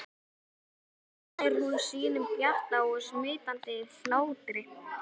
Svo hlær hún sínum bjarta og smitandi hlátri.